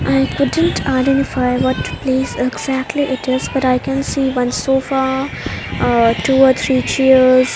I coudn't identify what place exactly it is but i can see one sofa ah two or three chairs.